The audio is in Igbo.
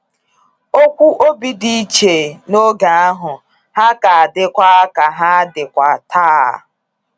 Okwu obi dị iche n’oge ahụ, ha ka adịkwa ha ka adịkwa ta